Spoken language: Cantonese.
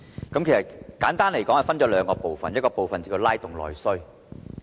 簡單而言，議案分為兩個部分，一個部分是拉動內需。